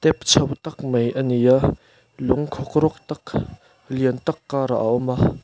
chho tak mai ani a lung khawkrawk tak lian tâk karah a awm a.